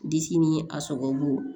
Disi ni a sɔgɔbolo